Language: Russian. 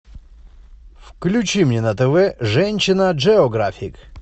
включи мне на тв женщина джеографик